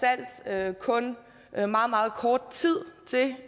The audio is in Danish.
alt kun er meget meget kort tid til